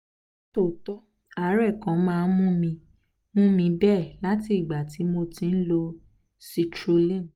nítòótọ́ àárẹ̀ kò máa ń mú mi mú mi bẹ́ẹ̀ láti ìgbà tí mo ti ń lo citrulline